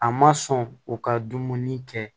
A ma sɔn u ka dumuni kɛ